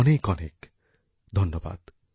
অনেক অনেক ধন্যবাদ